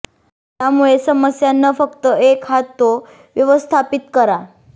त्यामुळे समस्या न फक्त एक हात तो व्यवस्थापित करा